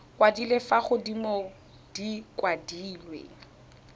kwadilwe fa godimo di kwadilwe